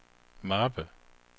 mappe